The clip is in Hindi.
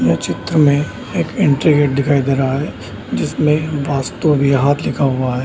यह चित्र में एक एंट्री गेट दिखाई दे रहा है जिसमें वस्तु बिहार लिखा हुआ है।